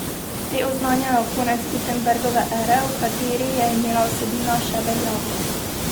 Te oznanjajo konec Gutenbergove ere, v kateri je imela vsebina še veljavo.